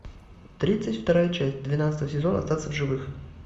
тридцать вторая часть двенадцатого сезона остаться в живых